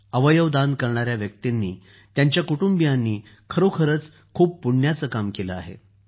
अवयव दान करणाऱ्या व्यक्तींनी त्यांच्या कुटुंबियांनी खरोखरच खूप पुण्याचं काम केलं आहे